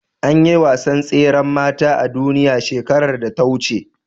Anyi wasan tseran mata a duniya shekarar da ta wuce